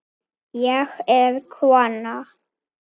Ég er kona